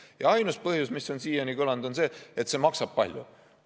Ja ainus põhjus, mis on siiani kõlanud, on see, et see maksab palju.